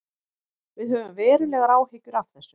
Við höfum verulegar áhyggjur af þessu